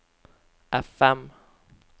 FM